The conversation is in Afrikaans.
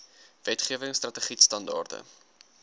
wetgewing strategied standaarde